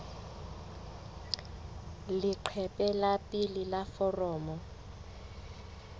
leqephe la pele la foromo